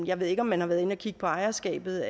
jeg ved ikke om man har været inde og kigge på ejerskabet